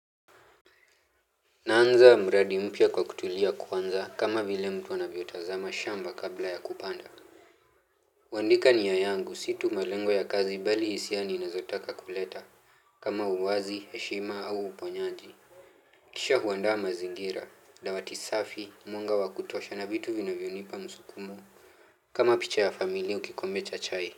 Naanza mradi mpya kwa kutulia kwanza kama vile mtu anavyotazama shamba kabla ya kupanda. Kuandika nia yangu si tu malengo ya kazi bali hisia ninazotaka kuleta kama uwazi, heshima au uponyaji. Kisha huanda mazingira, dawati safi, mwenga wa kutosha na vitu vinavyonipa msukumo. Kama picha ya familia au kikombe cha chai.